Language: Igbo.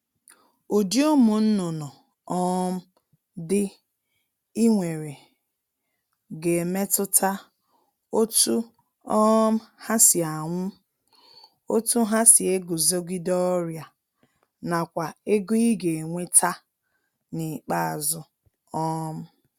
Ụdị ụmụnnụnụ um dị I nwere ga-emetụta otu um ha si anwụ, otu ha si eguzogide ọrịa nakwa ego I ga-enweta n'ikpeazụ um